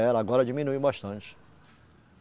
Ela, agora diminuiu bastante.